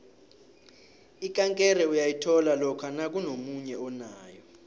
ikankere uyayithola lokha nakunomunye onayo